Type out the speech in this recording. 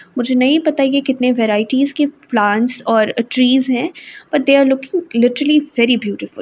मुझे नहीं पता है कि कितने व्हेरायटीस के प्लांट्स और ट्रीस है but they are looking literally very beautiful.